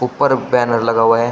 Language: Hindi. ऊपर बैनर लगा हुआ है।